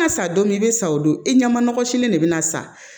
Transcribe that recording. Ŋa sa don min i be san o don i ɲɛma nɔgɔ sini de be na san